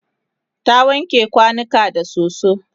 ta wanke kwanukan da soso